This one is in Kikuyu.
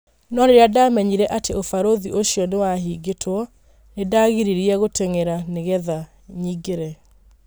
No rĩrĩa ndamenyire atĩ ũbarũthĩ ucio nĩwahingitwo, nĩndangirĩirie gũteng'era nĩgetha nyingĩre.